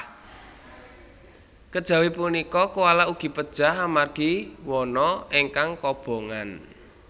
Kejawi punika koala ugi pejah amargi wana ingkang kobongan